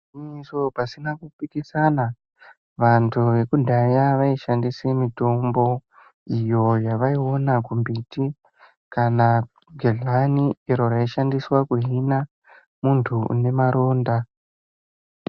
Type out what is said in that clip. Igwinyiso pasina kuphikisana, vantu vekudhaya vaishandise mitombo, iyo yavaiona kumbiti, kana gedhlani iro raishandiswa kuhina, muntu une maronda.